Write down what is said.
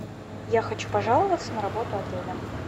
я хочу пожаловаться на работу отеля